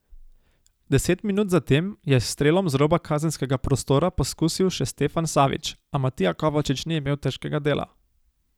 Deset minut zatem je s strelom z roba kazenskega prostora poskusil še Stefan Savić, a Matija Kovačič ni imel težkega dela.